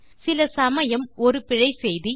சில சமயம் ஒரு பிழை செய்தி